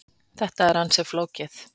Þetta er ansi flókið.